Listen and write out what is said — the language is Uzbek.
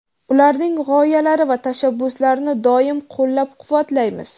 ularning g‘oyalari va tashabbuslarini doimo qo‘llab-quvvatlaymiz.